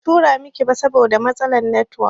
Ban tura miki ba saboda matsalar netiwok